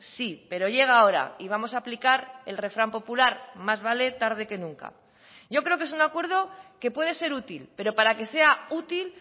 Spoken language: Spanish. sí pero llega ahora y vamos a aplicar el refrán popular más vale tarde que nunca yo creo que es un acuerdo que puede ser útil pero para que sea útil